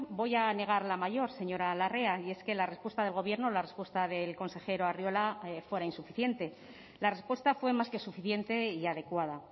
voy a negar la mayor señora larrea y es que la respuesta del gobierno la respuesta del consejero arriola fuera insuficiente la respuesta fue más que suficiente y adecuada